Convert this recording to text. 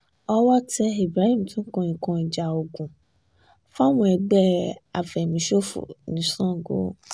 owó tẹ ibrahim tó ń kó nǹkan ìjà ogun fáwọn ẹgbẹ́ àfẹ̀míṣòfò ní sango